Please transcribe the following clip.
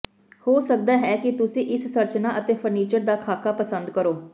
ਹੋ ਸਕਦਾ ਹੈ ਕਿ ਤੁਸੀਂ ਇਸ ਸੰਰਚਨਾ ਅਤੇ ਫ਼ਰਨੀਚਰ ਦਾ ਖਾਕਾ ਪਸੰਦ ਕਰੋ